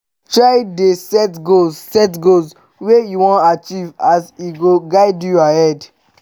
try dey set goals set goals wey you wan achieve as e go guide you ahead